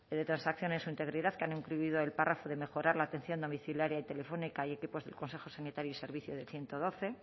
de transacción en su integridad que han incluido el párrafo de mejorar la atención domiciliaria y telefónica y equipos del consejo sanitario y servicio del ciento doce